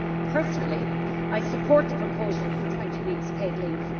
Personally I support the proposal for 20 weeks' paid leave.